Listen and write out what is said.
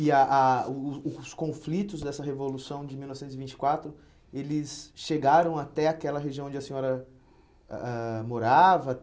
E a a os os conflitos dessa Revolução de mil novecentos e vinte e quatro, eles chegaram até aquela região onde a senhora eh ah morava?